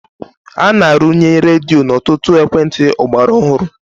A na-arụnye redio n'ọtụtụ ekwentị ọgbara ọhụrụ.